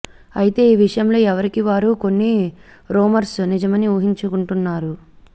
అయితే ఈ విషయంలో ఎవరికీ వారు కొన్ని రూమర్స్ నిజమని ఉహించుకుంటున్నారు